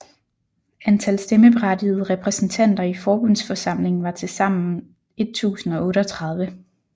Antal stemmeberettigede repræsentanter i Forbundsforsamlingen var tilsammen 1038